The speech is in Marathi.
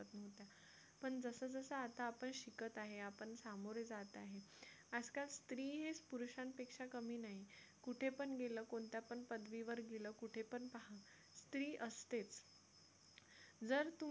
पण जसं जसं आता आपण शिकत आहे आपण सामोरे जात आहे आज-काल स्त्री हेच पुरुषांपेक्षा कमी नाही कुठे पण गेलं कोणत्या पण पदवीवर गेला कुठे पण पहा स्त्री असतेच जर तुम्ही